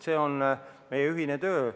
See on meie ühine töö.